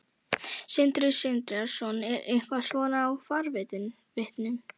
Sindri Sindrason: Er eitthvað svona í farvatninu?